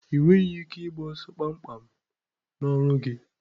Ị nweghị ike ịgba ọsọ kpamkpam n'ọrụ gị.